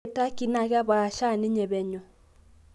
ore tukey naa kepaasha ninye penyo